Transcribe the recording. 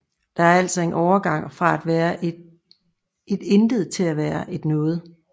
Der er altså en overgang fra at være et intet til at være et noget